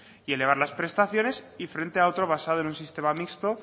y elevar las prestaciones y frente a otro basado en un sistema mixto